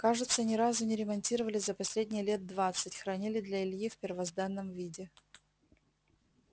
кажется ни разу не ремонтировали за последние лет двадцать хранили для ильи в первозданном виде